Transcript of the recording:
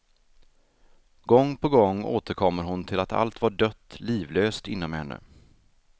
Gång på gång återkommer hon till att allt var dött, livlöst inom henne.